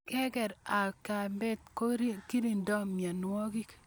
Kekar ak kepat ko kirindoi mianwogik